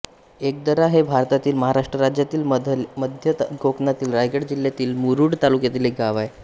इकदरा हे भारतातील महाराष्ट्र राज्यातील मध्य कोकणातील रायगड जिल्ह्यातील मुरूड तालुक्यातील एक गाव आहे